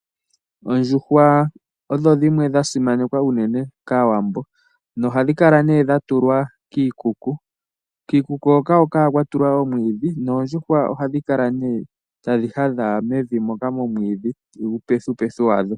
Oondjuhwa odho dhimwe dha simanekwa unene kAawambo, noha dhi kala nee dha tulwa kiikuku. Kiikuku hoka ohaku kala nee kwa tulwa oomwiidhi, noondjuhwa ohadhi kala nee tadhi hadha mevi moka momwiidhi, uupethupethu wadho.